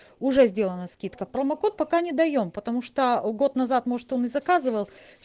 уже сделана скидка промокод пока не даём потому что год назад может он и заказывал